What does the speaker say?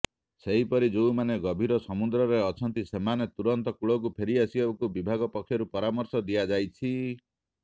ସେହିପରି ଯେଉଁମାନେ ଗଭୀର ସମୁଦ୍ରରେ ଅଛନ୍ତି ସେମାନଙ୍କୁ ତୁରନ୍ତ କୂଳକୁ ଫେରି ଆସିବାକୁ ବିଭାଗ ପକ୍ଷରୁ ପରାମର୍ଶ ଦିଆଯାଇଛି